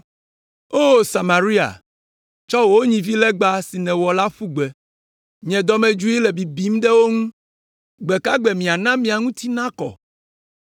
O Samaria, tsɔ wò nyivilegba si nèwɔ la ƒu gbe. Nye dɔmedzoe le bibim ɖe wo ŋu. Gbe ka gbe miana mia ŋuti nakɔ?